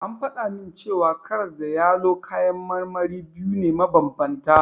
An faɗa min cewa karas da yalo kayan marmari biyu ne mabanbanta.